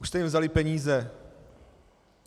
Už jste jim vzali peníze.